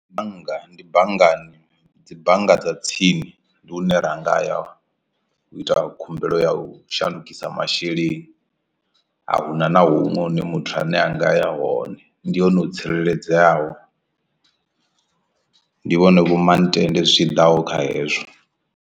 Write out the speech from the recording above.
Bannga ndi banngani dzi bannga dza tsini ndi hune ra nga ya u ita khumbelo ya u shandukisa masheleni a huna na huṅwe hune muthu ane anga ya hone ndi hone ho tsireledzeaho ndi vhone vho mantende zwi tshiḓa kha hezwo.